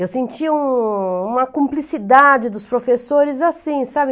Eu senti um, uma cumplicidade dos professores, assim, sabe?